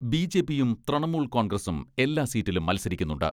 BJP യും തൃണമൂൽ കോൺഗ്രസും എല്ലാ സീറ്റിലും മത്സരിക്കുന്നുണ്ട്.